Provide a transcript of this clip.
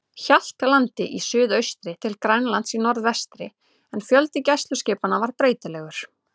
Hjaltlandi í suðaustri til Grænlands í norðvestri, en fjöldi gæsluskipanna var breytilegur.